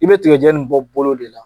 I bɛ tigɛjɛ nin bɔ bolo de la.